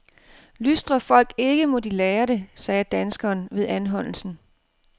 Lystrer folk ikke, må de lære det, sagde danskeren ved anholdelsen.